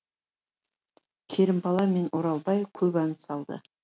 керімбала мен оралбай көп ән салды